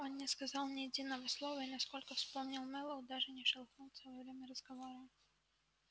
он не сказал ни единого слова и насколько вспомнил мэллоу даже не шелохнулся во время разговора